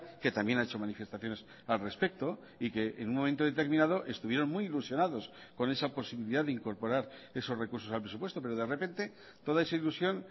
que también ha hecho manifestaciones al respecto y que en un momento determinado estuvieron muy ilusionados con esa posibilidad de incorporar esos recursos al presupuesto pero de repente toda esa ilusión